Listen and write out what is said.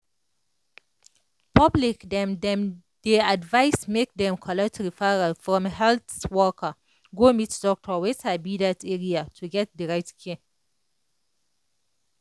public dem dem dey advise make dem collect referral from health worker go meet doctor wey sabi that area to get the right care.